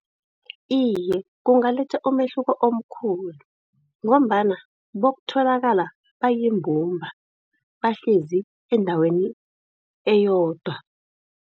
Iye, kungaletha umehluko omkhulu, ngombana bokutholakala bayimbumba, bahlezi endaweni eyodwa.